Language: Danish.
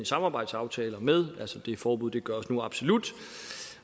samarbejdsaftaler med det forbud gøres nu absolut